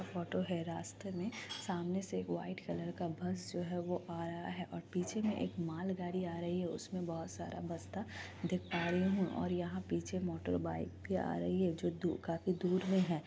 Photo हैं| रास्ते में सामने से एक वाइट कलर का बस जो हैं आ रहा है और पीछे में एक मालगाड़ी आ रही है| उसमे बहुत सारा बस्ता देख पा रही हूँ और यहाँ पीछे मोटर बाइक भी आ रही हैं जो दू काफी दूर मे हैं।